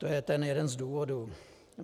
To je tedy jeden z důvodů.